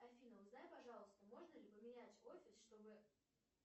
афина узнай пожалуйста можно ли поменять офис чтобы